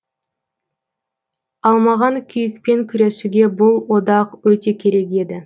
ал маған күйікпен күресуге бұл одақ өте керек еді